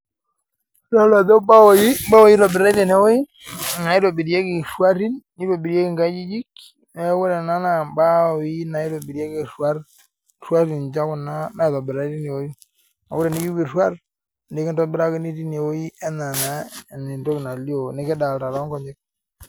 Nena baoi baoi itobiritai tene wueji naitobirieki iruatin nitobirikie inkajijik neaku ore ena naa baoi naitobirieki iruatin ninche kuna naitobiritai tene wueji ore eniyieu eruat nikitobirakini tene wueji enaa enalio nikidolita too nkonyek .